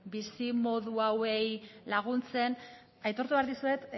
bizimodu hauei laguntzen aitortu behar dizuet